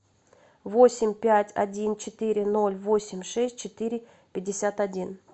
восемь пять один четыре ноль восемь шесть четыре пятьдесят один